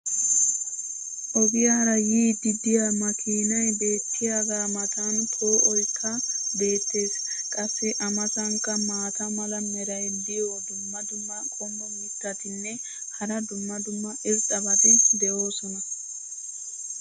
Ogiyaara yiidi diya makiinay beetiyaagaa matan poo"oykka beetees. qassi a matankka maata mala meray diyo dumma dumma qommo mitattinne hara dumma dumma irxxabati de'oosona.